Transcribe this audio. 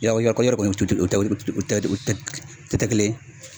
Yarɔ i yɛrɛ kɔni tɛ o tɛ o tɛ kɛ kelen ye